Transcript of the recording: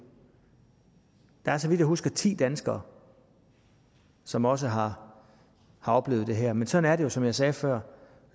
der er så vidt jeg husker ti danskere som også har oplevet det her men sådan jo som jeg sagde før